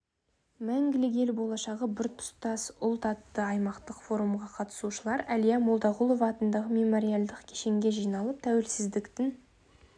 мәңгілік ел болашағы біртұтас ұлт атты аймақтық форумға қатысушылар әлия молдағұлова атындағы мемориалдық кешенге жиналып тәуелсіздікдің